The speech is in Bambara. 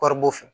Kɔɔri b'o fɛ